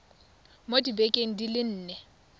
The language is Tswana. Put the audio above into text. mo dibekeng di le nne